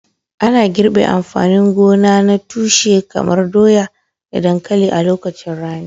Ana girbe amfanin gona na tushe kamar doya da dankalin a lokacin rani.